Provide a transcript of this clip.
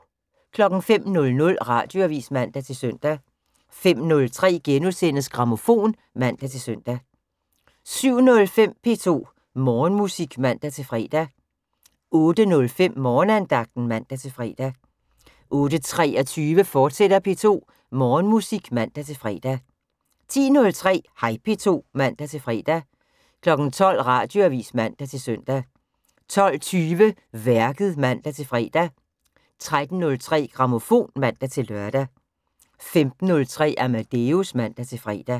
05:00: Radioavis (man-søn) 05:03: Grammofon *(man-søn) 07:05: P2 Morgenmusik (man-fre) 08:05: Morgenandagten (man-fre) 08:23: P2 Morgenmusik, fortsat (man-fre) 10:03: Hej P2 (man-fre) 12:00: Radioavis (man-søn) 12:20: Værket (man-fre) 13:03: Grammofon (man-lør) 15:03: Amadeus (man-fre)